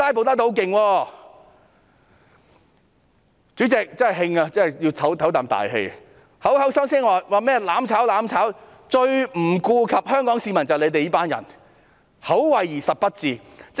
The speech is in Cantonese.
他們口口聲聲指責我們"攬炒"，但最不顧香港市民的就是他們這群人，口惠而實不至。